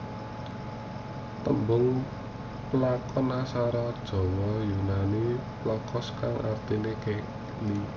Tembung plankton asale saka basa yunani planktos kang artine keli